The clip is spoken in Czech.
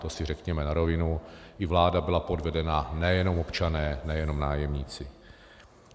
To si řekněme na rovinu, i vláda byla podvedena, nejenom občané, nejenom nájemníci.